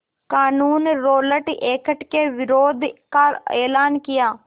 क़ानून Rowlatt Act के विरोध का एलान किया